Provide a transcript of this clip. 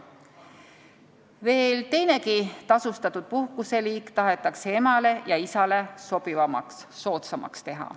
Veel teinegi tasustatud puhkuseliik tahetakse emale ja isale sobivamaks, soodsamaks teha.